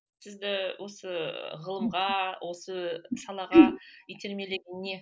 сізді осы ғылымға осы салаға итермелеген не